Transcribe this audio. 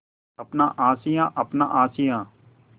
अपना आशियाँ अपना आशियाँ